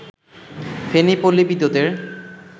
ফেনী পল্লী বিদ্যুতের